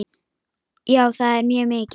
Já, það er mjög mikið.